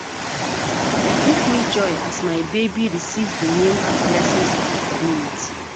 E give me joy as my baby receive di name and blessings of di community